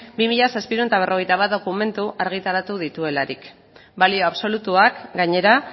bi mila zazpiehun eta berrogeita bat dokumentu argitaratu dituelarik balio absolutuak gainera